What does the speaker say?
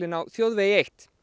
á þjóðvegi eitt